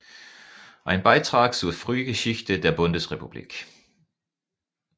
Ein Beitrag zur Frühgeschichte der Bundesrepublik